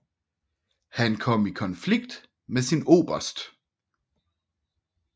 Han kom i konflikt med sin oberst